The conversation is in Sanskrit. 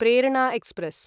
प्रेरणा एक्स्प्रेस्